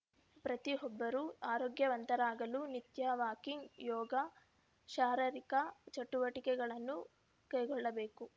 ಪ್ರತಿಯೊಬ್ಬರೂ ಆರೋಗ್ಯವಂತರಾಗಲು ನಿತ್ಯ ವಾಕಿಂಗ್‌ಯೋಗ ಶಾರೀರಿಕ ಚಟುವಟಿಕೆಗಳನ್ನು ಕೈಗೊಳ್ಳಬೇಕು